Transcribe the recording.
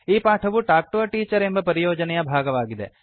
ಈ ಪಾಠವು talk to a teacher ಎಂಬ ಪರಿಯೋಜನೆಯ ಭಾಗವಾಗಿದೆ